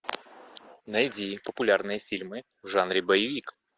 найди популярные фильмы в жанре боевик